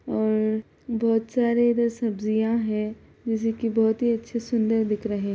और बहुत सारे इधर सब्जियां है जैसे कि बहुत ही अच्छे सुंदर दिख रहे।